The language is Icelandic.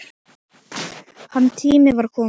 Hans tími var kominn.